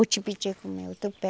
O tipiti como é o tupé